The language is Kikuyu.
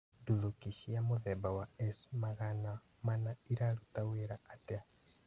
Ndũthũki cia mũthemba wa S-magana mana iraruta wĩra atĩa?